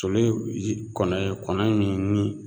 Toli kɔnɔ ye kɔnɔ min ni